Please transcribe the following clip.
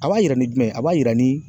A b'a yira ni jumɛn ye ? A b'a yira ni